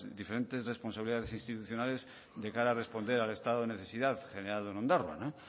diferentes responsabilidades institucionales de cara a responder al estado de necesidad generado en ondarroa